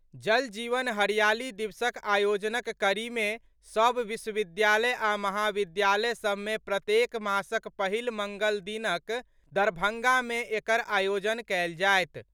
जल जीवन हरियाली दिवसक आयोजनक कड़ीमे सभ विश्वविद्यालय आ महाविद्यालय सभमे प्रत्येक मासक पहिल मङ्गल दिनक दरभंगामे एकर आयोजन कयल जायत।